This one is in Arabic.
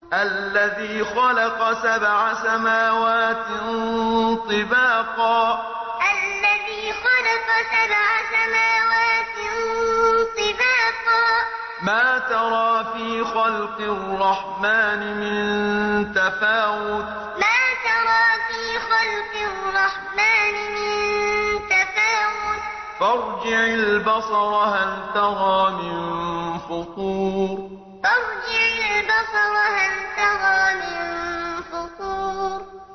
الَّذِي خَلَقَ سَبْعَ سَمَاوَاتٍ طِبَاقًا ۖ مَّا تَرَىٰ فِي خَلْقِ الرَّحْمَٰنِ مِن تَفَاوُتٍ ۖ فَارْجِعِ الْبَصَرَ هَلْ تَرَىٰ مِن فُطُورٍ الَّذِي خَلَقَ سَبْعَ سَمَاوَاتٍ طِبَاقًا ۖ مَّا تَرَىٰ فِي خَلْقِ الرَّحْمَٰنِ مِن تَفَاوُتٍ ۖ فَارْجِعِ الْبَصَرَ هَلْ تَرَىٰ مِن فُطُورٍ